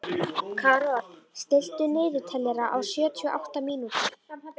Karol, stilltu niðurteljara á sjötíu og átta mínútur.